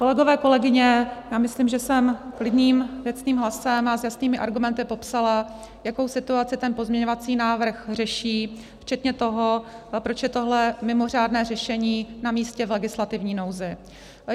Kolegové, kolegyně, já myslím, že jsem klidným, věcným hlasem a s jasnými argumenty popsala, jakou situaci ten pozměňovací návrh řeší, včetně toho, proč je tohle mimořádné řešení namístě v legislativní nouzi.